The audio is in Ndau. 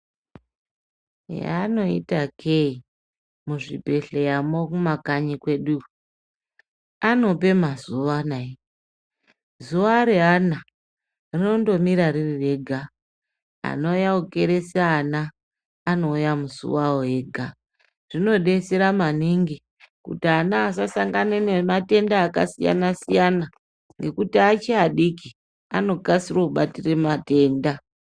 Yaanoita kee muzvibhedhleramo kumakanyi kweduyo anope mazuva nayi zuva reana rinondomira ririrega anouye kukeresa ana anouya musi wavo vega zvinodetsera maningi kuti ana asasangane nematenda akasiyana siyana nekuti achiri adiki anokasire kubatira matenda .